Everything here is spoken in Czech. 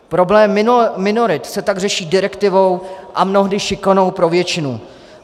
Problémy minorit se tak řeší direktivou a mnohdy šikanou pro většinu.